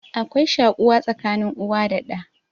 Akwai shaƙuwa tsakanin uwa da ɗa